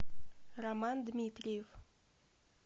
роман дмитриев